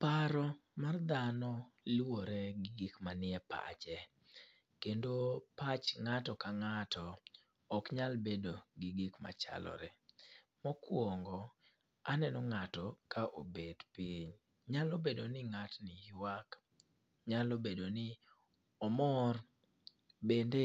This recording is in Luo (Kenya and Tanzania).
Paro mar dhano luwore gi gik manie pache. Kendo pach ngáto ka ngáto ok nyal bedo gi gik machalore. Mokwongo aneno ngáto ka obet piny. Nyalo bedo ni ngátni ywak, nyalo bedo ni omor. Bende